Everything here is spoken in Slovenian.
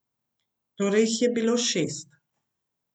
Torej jih je bilo šest.